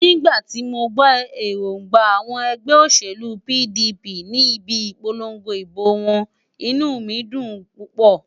Nígbà tí mo gbọ́ èróńgbà àwọn ẹgbẹ́ òṣèlú PDP ní ibi ìpolongo ìbò wọn, inú mi dùn púpọ̀.